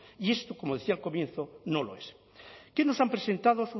y esto como decía al comienzo no lo es